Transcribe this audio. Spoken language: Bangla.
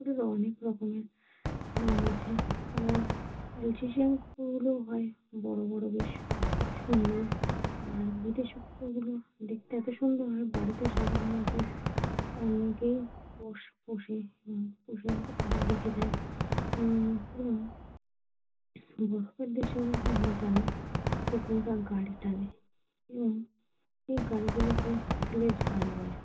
অনেকেই পোষে তারা রেখে দেয় বরফের দেশেও আমরা জানি কুকুররা গাড়ি টানে এবং এই গাড়িগুলোকে Sledge গাড়ি বলে।